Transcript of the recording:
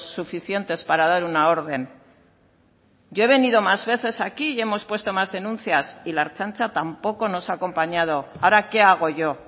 suficientes para dar una orden yo he venido más veces aquí y hemos puesto más denuncias y la ertzaintza tampoco nos ha acompañado ahora qué hago yo